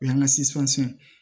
O y'an ka